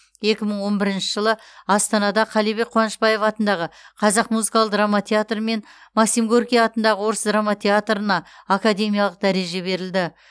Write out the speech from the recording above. екі мың он бірінші жылы астанада қалибек қуанышбаев атындағы қазақ музыкалық драма театры мен максим горький атындағы орыс драма театрына академиялық дәреже берілді